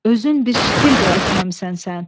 Özün bir ştil də əkməmisən sən.